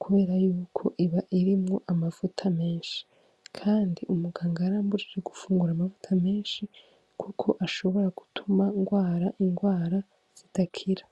kubera yuko iba irimwo amavuta menshi, kandi umuganga yarambujije gufungura amavuta menshi, kuko ashobora gutuma ngwara ingwara zidakira.